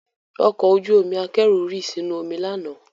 Ọkọ ojú omi akẹ́rù rì sínú omi lánàá